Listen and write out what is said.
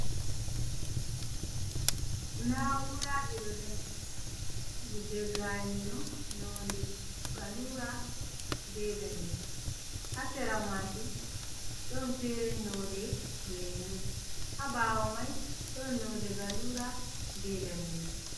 Na'uraji ɗo dari, ɓo je ga'énɗo nonɗe gallùra, ɓe ɗanejum ha'sera mà'jum, ɗon fere, node lému ha ɓawo mai, ɗon node gallùra be ɗane'jum.